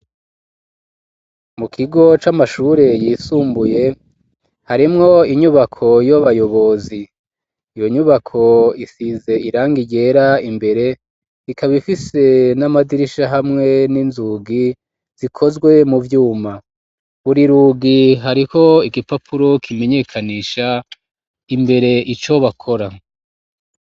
Mu kigo c'amashure yisumbuye ,harimwo inyubako y'abayobozi ,iyo nyubako isize irangi ryera imbere ,ikaba ifise n'amadirisha hamwe n'inzugi zikozwe mu vyuma ,buri rugi hariho igipapuro kimenyekanisha imbere icobakora.